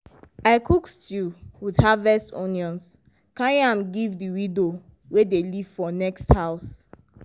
i cook stew with harvest onions carry am give the widow wey dey live for next house.